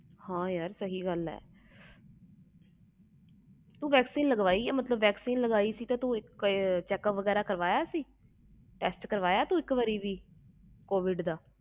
ਹਾਂ ਯਾਰ ਤੂੰ vaccine ਕਰਵਾਈ ਸੀ ਤੇ ਤੂੰ ਟੈਸਟ ਕਰਵਾਇਆ ਸੀ ਕੋਵਿਡ ਦਾ Check uptest